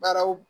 Baaraw